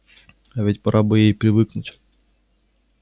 а ведь пора бы ей и привыкнуть